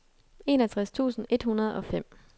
enogtres tusind et hundrede og fem